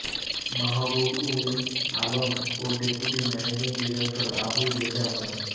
মাহবুব উল আলম ও deputy managing director Abu Reza মো